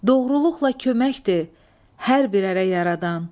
Doğruluqla köməkdir hər bir ərə yaradan.